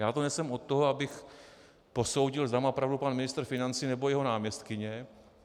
Já tu nejsem od toho, abych posoudil, zda má pravdu pan ministr financí, nebo jeho náměstkyně.